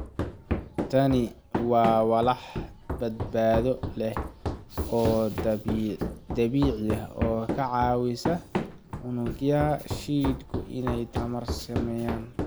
Tani waa walax badbaado leh oo dabiici ah oo ka caawisa unugyada jidhku inay tamar sameeyaan.